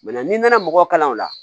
n'i nana mɔgɔ kalan o la